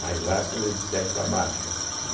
Mais ácida é de sete para baixo.